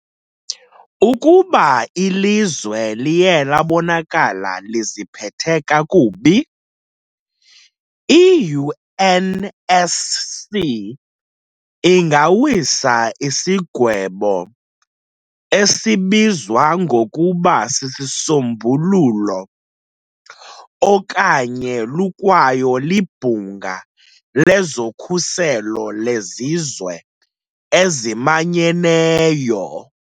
Ukuba ilizwe liye labonaka liziphethe kakubi, I-UNSC ingawisa isigwebo, esibizwa ngokuba sisisombululo okanye lukwayo libhunga lezokhuselo lwezizwe ezimanyeneyo.